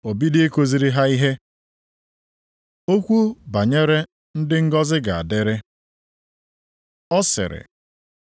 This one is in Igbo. o bido ikuziri ha ihe. Okwu banyere ndị ngọzị na-adịrị Ọ sịrị: